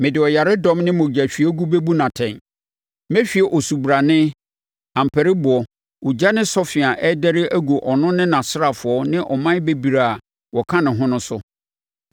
Mede ɔyaredɔm ne mogyahwiegu bɛbu no atɛn, mɛhwie osubrane, ampariboɔ, ogya ne sɔfe a ɛdɛre agu ɔno ne nʼasraafoɔ ne aman bebree a wɔka ne ho no so.